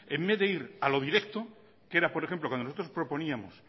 de ir a lo directo que era por ejemplo cuando nosotros proponíamos